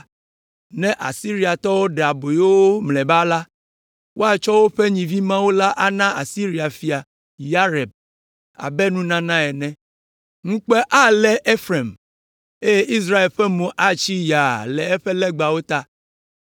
Ne Asiriatɔwo ɖe aboyo wo mlɔeba la, woatsɔ woƒe nyivimawu la ana Asiria fia, Yareb, abe nunana ene. Ŋukpe alé Efraim, eye Israel ƒe mo atsi yaa le eƒe legbawo ta.